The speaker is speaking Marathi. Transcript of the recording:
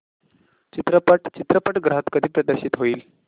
चित्रपट चित्रपटगृहात कधी प्रदर्शित होईल